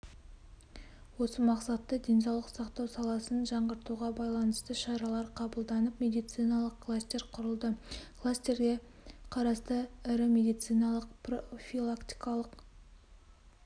осы мақсатта денсаулық сақтау саласын жаңғыртуға байланысты шаралар қабылданып медициналық кластер құрылды кластерге қарасты ірі медициналық-профилактикалық